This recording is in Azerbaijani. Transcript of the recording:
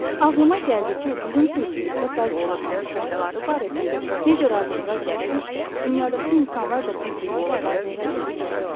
Ağlıma gəldi ki, bizim sinifimizdə bəzi davranış qaydaları barədə necə razılığa gəliriksə, dünyadakı insanlar da bir-biri ilə razılığa gələ bilərlər.